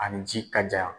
Ani ji ka ja